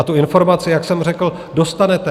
A tu informaci, jak jsem řekl, dostanete.